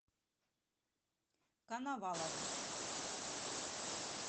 коновалову